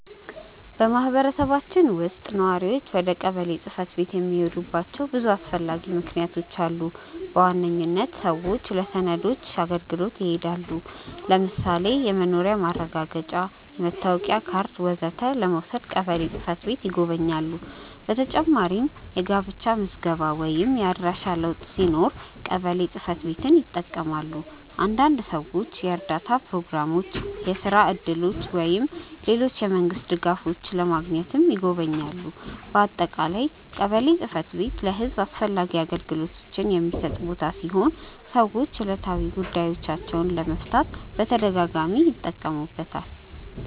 በማህበረሰባችን ውስጥ ነዋሪዎች ወደ ቀበሌ ጽ/ቤት የሚሄዱባቸው ብዙ አስፈላጊ ምክንያቶች አሉ። በዋነኝነት ሰዎች ለሰነዶች አገልግሎት ይሄዳሉ። ለምሳሌ የመኖሪያ ማረጋገጫ፣ መታወቂያ ካርድ ወዘተ ለመውሰድ ቀበሌ ጽ/ቤት ይጎበኛሉ። በተጨማሪም የጋብቻ ምዝገባ ወይም የአድራሻ ለውጥ ሲኖር ቀበሌ ጽ/ቤትን ይጠቀማሉ። አንዳንድ ሰዎች የእርዳታ ፕሮግራሞች፣ የስራ እድሎች ወይም ሌሎች የመንግስት ድጋፎች ለማግኘትም ይጎበኛሉ። በአጠቃላይ ቀበሌ ጽ/ቤት ለህዝብ አስፈላጊ አገልግሎቶችን የሚሰጥ ቦታ ሲሆን ሰዎች ዕለታዊ ጉዳዮቻቸውን ለመፍታት በተደጋጋሚ ይጠቀሙበታል።